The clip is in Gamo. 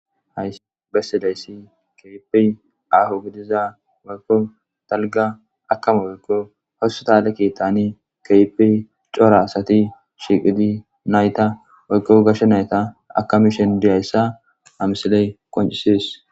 hay bessidayssi keipi aho gidiza wako talga akama woykko hossa tale kiittani keipi cora asati shiiqidi nayta woykko gashsha nayta akami shen diyayssa amisiley qoncisis